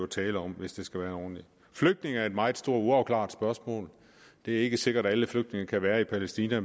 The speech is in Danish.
tale om hvis det skal være ordentligt flygtninge er et meget stort uafklaret spørgsmål det er ikke sikkert at alle flygtninge kan være i palæstina